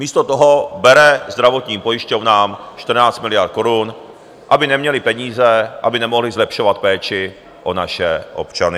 Místo toho bere zdravotním pojišťovnám 14 miliard korun, aby neměly peníze, aby nemohly zlepšovat péči o naše občany.